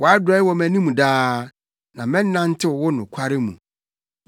Wʼadɔe wɔ mʼanim daa na mɛnantew wo nokware mu.